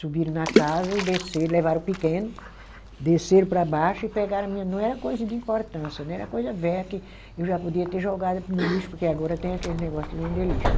Subiram na casa e desceram, levaram o pequeno, desceram para baixo e pegaram a minha, não era coisa de importância, era coisa velha que eu já podia ter jogado no lixo, porque agora tem aqueles negócio de vender lixo, né.